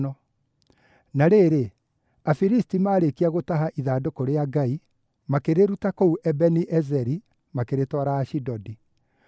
Na rĩrĩ, Afilisti maarĩkia gũtaha ithandũkũ rĩa Ngai, makĩrĩruta kũu Ebeni-Ezeri, makĩrĩtwara Ashidodi.